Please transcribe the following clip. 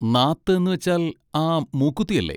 നാത്ത് എന്നുവെച്ചാൽ ആ മൂക്കുത്തി അല്ലേ?